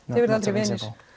verðið aldrei vinir